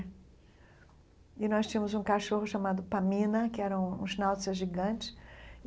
É. E nós tínhamos um cachorro chamado Pamina, que era um um schnauzer gigante e.